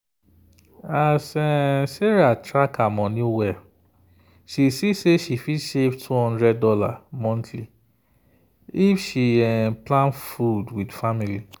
as sarah track her money well she see say she fit save $200 monthly if she plan food with family.